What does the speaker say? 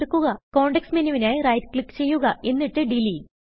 context menuവിനായി right click ചെയ്യുക എന്നിട്ട് ഡിലീറ്റ്